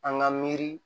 An ka miiri